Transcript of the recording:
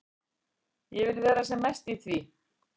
Ég vil vera sem mest í því.